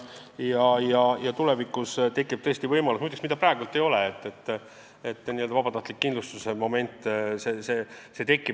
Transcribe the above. Tulevikus tekib võimalus – praegu seda ei ole –vabatahtlikuks kindlustuseks.